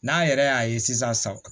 N'an yɛrɛ y'a ye sisan